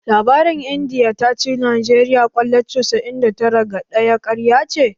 Labarin Indiya ta ci Najeriya kwallo casa'in da tara ga ɗaya ƙarya ce